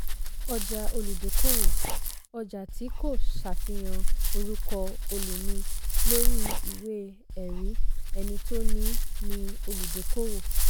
ọjà olùdókòwò - ọjà tí kò ṣàfihàn orúkọ̀ olùní lórí ìwé-ẹ̀rí ẹni tó ní í ni olùdókòwò.